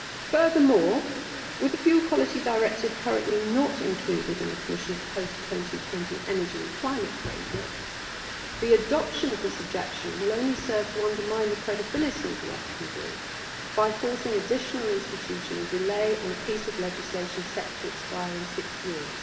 Furthermore, with the Fuel Quality Directive currently not included in the Commission's post 2020 Energy and Climate Framework, the adoption of this objection will only serve to undermine the credibility of the FQD by forcing additional institutional delay on a piece of legislation set to expire in six years.